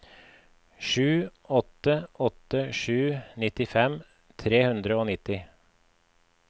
sju åtte åtte sju nittifem tre hundre og nitti